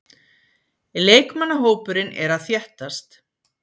Leikmannahópurinn er að þéttast.